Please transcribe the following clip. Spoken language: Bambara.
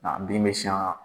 Nka bin bɛ siyan wa